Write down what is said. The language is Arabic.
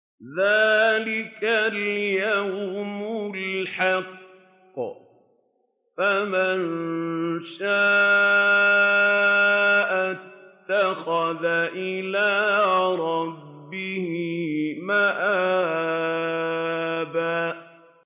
ذَٰلِكَ الْيَوْمُ الْحَقُّ ۖ فَمَن شَاءَ اتَّخَذَ إِلَىٰ رَبِّهِ مَآبًا